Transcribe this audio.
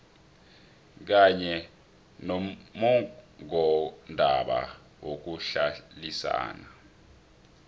kanye nommongondaba yokuhlalisana